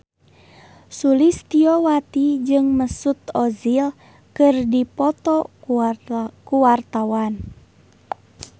Sulistyowati jeung Mesut Ozil keur dipoto ku wartawan